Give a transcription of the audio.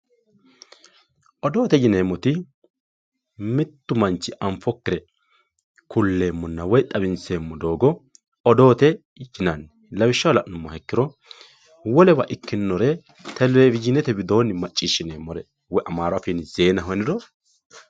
odoote yineemmoti mittu manchi anfokkire kulleemmonna xawinseemmo doogo odoote yinanni lawishshaho la'nummoha ikkiro wolewa ikkinore telewizhiinete widoonni macciishshineemmore amaaru afiinni zeenaho yiniro.